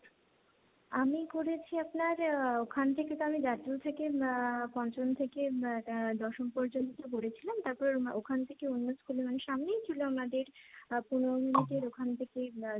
আমি করেছি আপনার আহ ওখান থেকে তো আমি জাতীয় থেকে পঞ্চম থেকে দশম পর্যন্ত পড়েছি, তারপর ওখান থেকে অন্য স্কুলের সামনেই ছিল আমাদের পনেরো মিনিটের, ওখান থেকে,